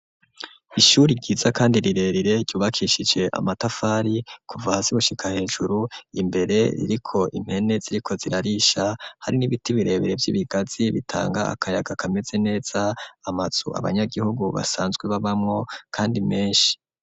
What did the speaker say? Ishuri ryiza kandi rirerire ryubakishije amatafari kuva hasi gushika hejuru imbere ririko impene ziriko zirarisha hari n'ibiti birebere vy'ibigazi bitanga akayaga kameze neza amazu abanyagihugu basanzwe babamwo kandi meshi.